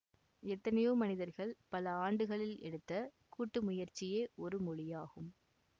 எத்தனையோ மனிதர்கள் பல ஆண்டுகளில் எடுத்த கூட்டு முயற்சியே ஒரு மொழியாகும்